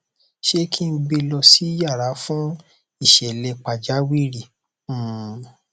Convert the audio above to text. ṣé kí n gbe lọ sí yàrà fún ìṣẹlẹ pàjáwìrì um